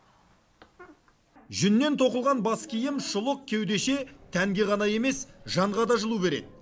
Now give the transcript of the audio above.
жүннен тоқылған бас киім шұлық кеудеше тәнге ғана емес жанға да жылу береді